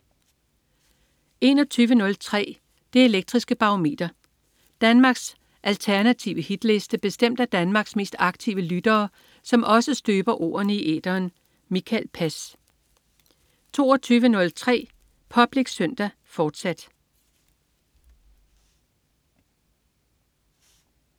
21.03 Det elektriske Barometer. Danmarks alternative hitliste bestemt af Danmarks mest aktive lyttere, som også støber ordene i æteren. Mikael Pass 22.03 Public Søndag, fortsat